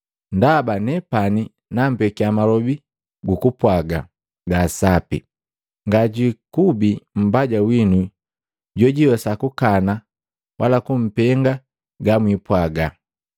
Ndaba nepani nampekia malobi gukupwaaga gaa sapi, ngajwiikubi mbaja winu jojwiiwesa kukana wala kumpenga gamwipwaaga.